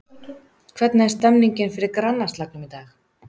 Hvernig er stemningin fyrir grannaslagnum í dag?